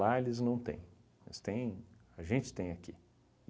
Lá eles não têm, mas tem a gente tem aqui.